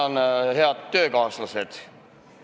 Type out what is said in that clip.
Tänan, head töökaaslased!